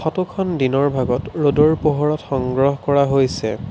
Photo খন দিনৰ ভাগত ৰ'দৰ পোহৰত সংগ্ৰহ কৰা হৈছে।